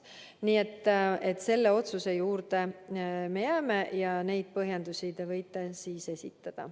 Nii et selle otsuse juurde me jääme ja neid põhjendusi te võite esitada.